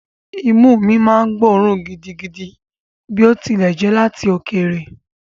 Imú mi máa ń gbóòórùn gidigidi bí ó tilẹ̀ jẹ́ láti òkèèrè.